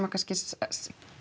kannski